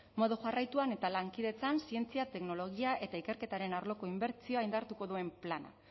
modu jarraituan eta lankidetzan zientzia teknologia eta ikerketaren arloko inbertsioa indartuko duen plana